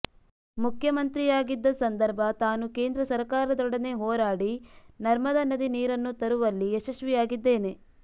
ಮುಖ್ಯಮಂತ್ರಿಯಾಗಿದ್ದ ಸಂದರ್ಭ ತಾನು ಕೇಂದ್ರ ಸರಕಾರದೊಡನೆ ಹೋರಾಡಿ ನರ್ಮದಾ ನದಿ ನೀರನ್ನು ತರುವಲ್ಲಿ ಯಶಸ್ವಿಯಾಗಿದ್ದೇನೆ